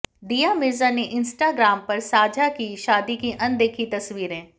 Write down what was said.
दीया मिर्जा ने इंस्टाग्राम पर साझा की शादी की अनदेखी तस्वीरें